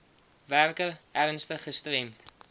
werker ernstig gestremd